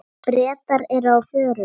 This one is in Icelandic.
Bretar eru á förum.